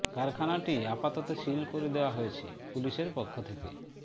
কারখানাটি আপাতত সিল করে দেওয়া হয়েছে পুলিশের পক্ষ থেকে